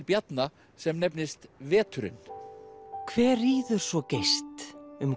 Bjarna sem nefnist veturinn hver ríður svo geyst um